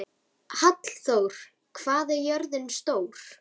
Hallþór, hvað er jörðin stór?